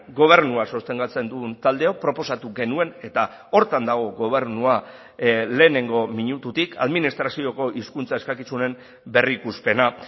gobernua sostengatzen dugun taldeok proposatu genuen eta horretan dago gobernua lehenengo minututik administrazioko hizkuntza eskakizunen berrikuspena